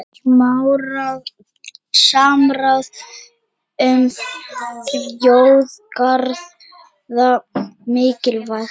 Samráð um þjóðgarða mikilvægt